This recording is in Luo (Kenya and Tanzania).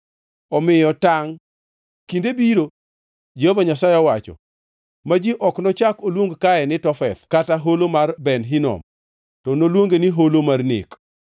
Omiyo tangʼ, kinde biro, Jehova Nyasaye owacho, ma ji ok nochak oluong kae ni Tofeth kata Holo mar Ben Hinom, to noluonge ni Holo mar Nek.’